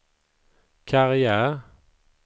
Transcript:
karriär